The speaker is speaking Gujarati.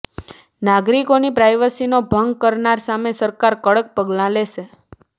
નાગરિકોની પ્રાઇવસીનો ભંગ કરનારા સામે સરકાર કડક પગલાં લેશે